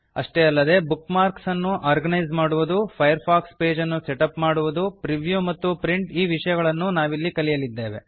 ಅಷ್ಟೇ ಅಲ್ಲದೆ bookmarks ಅನ್ನು ಆರ್ಗನೈಸ್ ಮಾಡುವುದು ಫೈರ್ ಫಾಕ್ಸ್ ಪೇಜ್ ಅನ್ನು ಸೆಟ್ ಅಪ್ ಮಾಡುವುದು ಪ್ರಿವ್ಯೂ ಮತ್ತು ಪ್ರಿಂಟ್ ಈ ವಿಷಯಗಳನ್ನೂ ನಾವಿಲ್ಲಿ ಕಲಿಯಲಿದ್ದೇವೆ